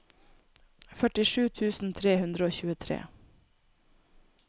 førtisju tusen tre hundre og tjuetre